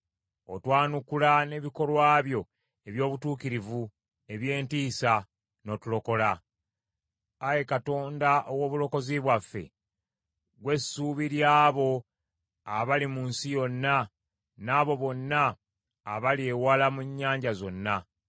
Otwanukula n’ebikolwa byo eby’obutuukirivu eby’entiisa n’otulokola, Ayi Katonda ow’obulokozi bwaffe; ggwe ssuubi ly’abo abali mu nsi yonna n’abo bonna abali ewala mu nnyanja zonna,